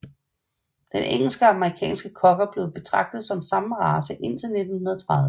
Den engelsk og amerikansk Cocker blev betragtet som den samme race indtil 1930